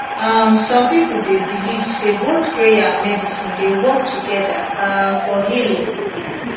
um some people dey believe say both prayer and medicine dey work together um for healing